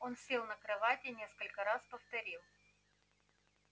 он сел на кровать и несколько раз повторил